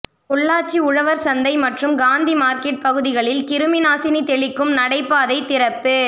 பொள்ளாச்சி உழவர் சந்தை மற்றும் காந்தி மார்க்கெட் பகுதிகளில் கிருமி நாசினி தெளிக்கும் நடைபாதை திறப்பு